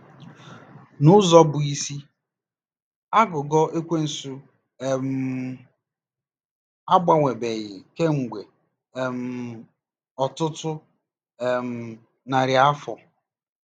N'ụzọ bụ́ isi, aghụghọ Ekwensu um agbanwebeghị kemgbe um ọtụtụ um narị afọ.